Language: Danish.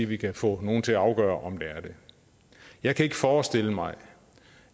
vi kan få nogle til at afgøre om det er det jeg kan ikke forestille mig